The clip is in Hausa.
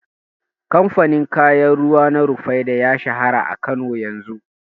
Kamfanin kayan ruwa na Rufaidah ya shahara a Kano yanzu.